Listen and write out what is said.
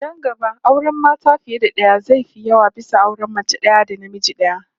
Nan gaba auren mata fiye da daya zai fi yawa bisa auren mace daya da namiji daya